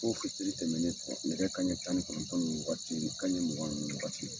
Ko fitiri tɛmɛnen nɛgɛ kanɲɛ tan ni kɔnɔntɔn nin waati kanɲɛ mugan nin waati .